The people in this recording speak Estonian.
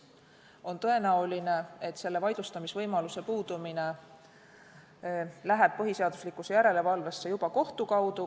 On tõenäoline, et vaidlustamisvõimaluse puudumine läheb põhiseaduslikkuse järelevalvesse juba kohtu kaudu.